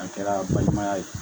An kɛra balimaya ye